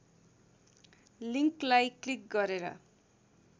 लिङ्कलाई click गरेर